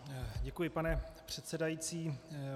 Děkuji, pane předsedající.